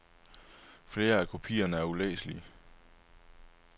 Flere af kopierne er ulæselige.